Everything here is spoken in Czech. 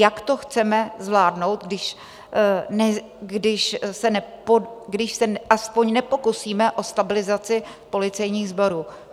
Jak to chceme zvládnout, když se aspoň nepokusíme o stabilizaci policejních sborů?